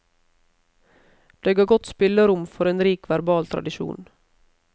Det ga godt spillerom for en rik verbal tradisjon.